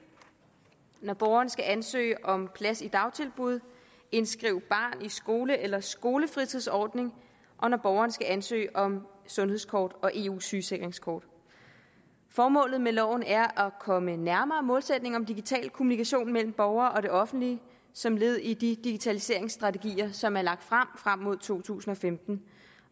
når borgeren skal ansøge om plads i dagtilbud indskrive barn i skole eller skolefritidsordning og når borgeren skal ansøge om sundhedskort og eu sygesikringskort formålet med loven er at komme nærmere målsætningen om digital kommunikation mellem borger og det offentlige som led i de digitaliseringsstrategier som er lagt frem frem mod to tusind og femten